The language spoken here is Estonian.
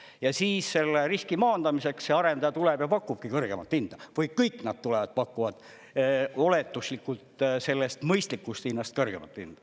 Ja siis selle riski maandamiseks see arendaja tuleb ja pakubki kõrgemat hinda või kõik nad tulevad pakuvad oletuslikult sellest mõistlikust hinnast kõrgemat hinda.